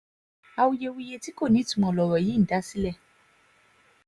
awuyewuye tí kò nítumọ̀ lọ̀rọ̀ yìí ń dá sílẹ̀